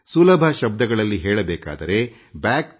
ಸುಲಭ ಶಬ್ದಗಳಲ್ಲಿ ಹೇಳಬೇಕಾದರೆback ಟಿಒ basics